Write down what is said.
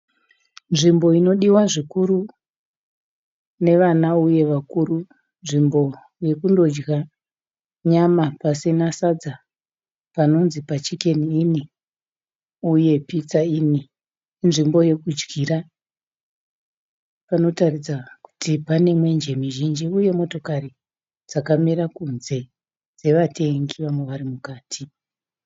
Nzvimbo inodiwa zvikuru nevana uye vakuru nzvimbo yekunodya nyama pasina sadza panonzi paChicken inn uye pizza inn, inzvimbo yekudyira panoratidza kuti pane mwenje mizhinji uye motokari dzakamira kunze dzevatengi vamwe vari mukati.